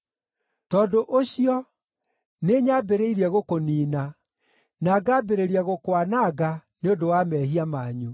Tondũ ũcio, nĩnyambĩrĩirie gũkũniina, na ngambĩrĩria gũkwananga nĩ ũndũ wa mehia manyu.